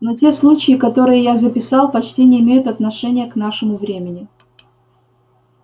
но те случаи которые я записал почти не имеют отношения к нашему времени